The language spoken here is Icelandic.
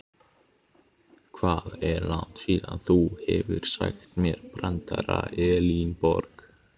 Hvað er langt síðan þú hefur sagt mér brandara Elínborg?